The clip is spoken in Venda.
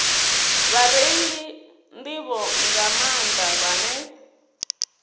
vhareili nḓivho nga maanḓa vhane